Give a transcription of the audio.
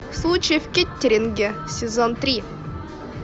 случай в кеттеринге сезон три